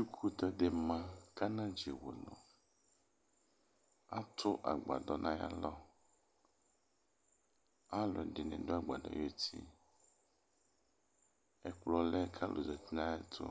Uyuikʋtɛ dɩ ma kʋ anadzewunu Atʋ akpadɔ nʋ ayalɔ Alʋɛdɩnɩ dʋ agbadɔ yɛ ayuti Ɛkplɔ lɛ kʋ alʋ zati nʋ ayɛtʋ